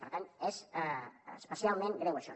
per tant és especialment greu això